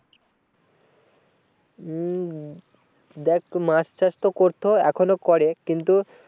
উম দেখ মাছ চাষ তো করতে হয় এখনো করে কিন্তু